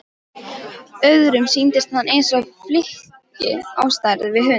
Öðrum sýndist hann eins og flykki á stærð við hund.